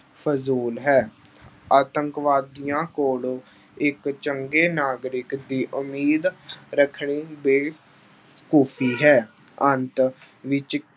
ਫ਼ਜ਼ੂਲ ਹੈ। ਆਤੰਕਵਾਦੀਆਂ ਕੋਲੋਂ ਇੱਕ ਚੰਗੇ ਨਾਗਰਿਕ ਦੀ ਉਮੀਦ ਰੱਖਣੀ ਬੇਵਕੂਫ਼ੀ ਹੈ। ਅੰਤ ਵਿੱਚ